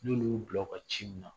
N'olu y'u bila u ka ci min na